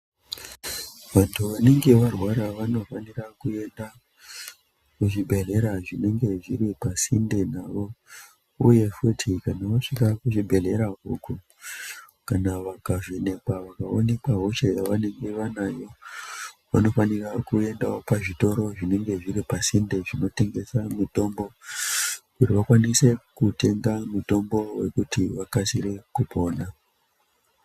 Vanhu vanenge varwara vanofanire kuenda kuzvibhehleya zvinenge zviri pasinde navo uye futi kana vasvika kuzvibherhleya ikoko kana vakavheneekwa vakaoneka hosha yavanenge vanayo vanofanira kuendawo pazvitoro zvinenge zviri pasinde zvinotengesa mutombo kuti vakwanise kutenga mutombo wekuti vakwanise kupona.